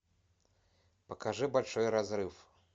покажи большой разрыв